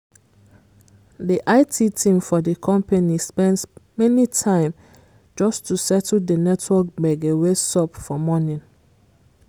the it team for the company spend many time just to settle the network gbege wey sup for morning